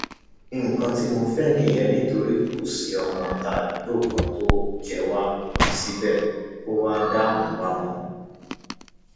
nǹkan tí mo fẹ nìyẹn nítorí kò sí ọmọọta àdúgbò kan tó jẹ wá síbẹ kó wá dààmú wa mọ